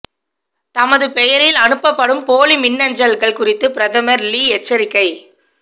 தமது பெயரில் அனுப்பப்படும் போலி மின்னஞ்சல்கள் குறித்து பிரதமர் லீ எச்சரிக்கை